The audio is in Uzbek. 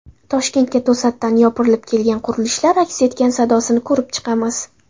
Toshkentga to‘satdan yopirilib kelgan qurilishlar aks sadosini ko‘rib chiqamiz.